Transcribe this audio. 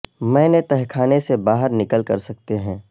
میں نے تہہ خانے سے باہر نکل کر سکتے ہیں